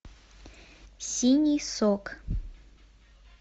синий сок